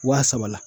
Wa saba la